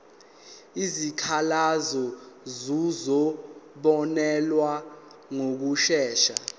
izikhalazo zizobonelelwa ngokushesha